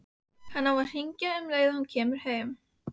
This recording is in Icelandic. Hann á að hringja um leið og hann kemur heim.